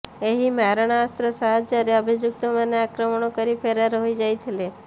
ଏହି ମାରଣାସ୍ତ୍ର ସାହାଯ୍ୟରେ ଅଭିଯୁକ୍ତମାନେ ଆକ୍ରମଣ କରି ଫେରାର୍ ହୋଇଯାଇଥିଲେ